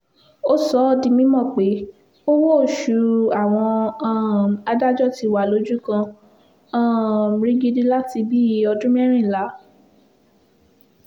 ó sọ ọ́ di mímọ̀ pé owó-oṣù àwọn um adájọ́ ti wà lójú kan um rigidi láti bíi ọdún mẹ́rìnlá